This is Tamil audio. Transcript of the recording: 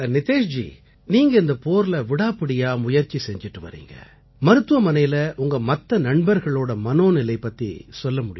நிதேஷ்ஜி நீங்க இந்தப் போர்ல விடாப்பிடியா முயற்சி செஞ்சிட்டு வர்றீங்க மருத்துவமனையில உங்க மத்த நண்பர்களோட மனோநிலை பத்தி சொல்ல முடியுங்களா